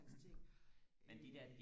hans ting øh